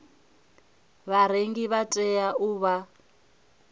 vharengi vha tea u vha